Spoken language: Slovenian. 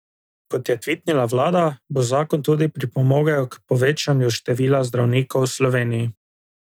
Kot je tvitnila vlada, bo zakon tudi pripomogel k povečanju števila zdravnikov v Sloveniji.